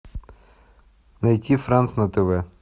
найти франс на тв